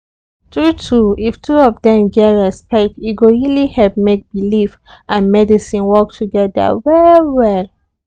true true if two of dem get respect e go really help make belief and medicine work together well well.